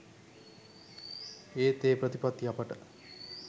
ඒත් ඒ ප්‍රතිපත්ති අපට